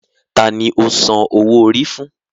Ta ni o san owó orí fún?